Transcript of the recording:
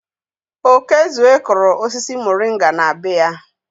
Okezue kụrụ osisi moringa na be ya.